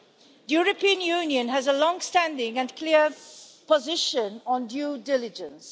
The European Union has a long standing and clear position on due diligence.